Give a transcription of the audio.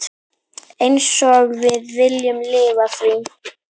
Einsog við viljum lifa því.